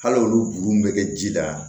Hali olu kuru min bɛ kɛ ji la